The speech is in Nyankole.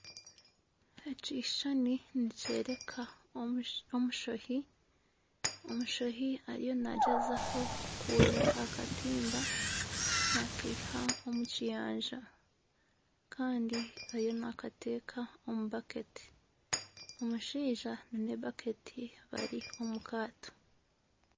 Ekishushani nikyoreka omushoohi. Omushoohi ariyo nagyezaho kunyurura akatimba nakaiha omu nyanja kandi ariyo nakateeka omu baketi, omushaija aine ebaketi bari omu kaato.